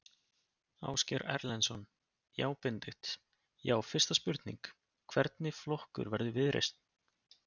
Ásgeir Erlendsson: Já Benedikt, já fyrsta spurning, hvernig flokkur verður Viðreisn?